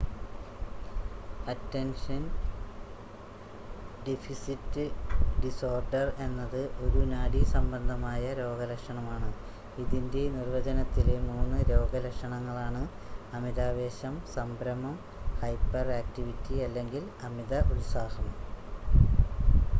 "Attention deficit disorder എന്നത് "ഒരു നാഡീ സംബന്ധമായ രോഗലക്ഷണമാണ് ഇതിന്റെ നിർവചനത്തിലെ മൂന്ന് രോഗലക്ഷണങ്ങളാണ് അമിതാവേശം സംഭ്രമം ഹൈപ്പർ ആക്ടിവിറ്റി അല്ലെങ്കിൽ അമിത ഉത്സാഹം"".